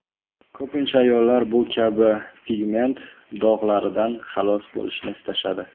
Ko‘pincha ayollar bu kabi pigment dog‘laridan xalos bo‘lishni istashadi.